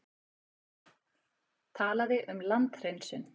Talaði um landhreinsun.